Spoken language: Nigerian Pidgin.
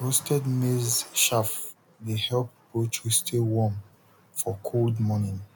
roasted maize chaff dey help poultry stay warm for cold morning